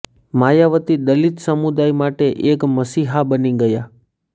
માયાવતી દલિત સમુદાય માટે એક મસિહા બની ગયા